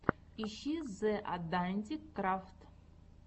ищи зе атдантик крафт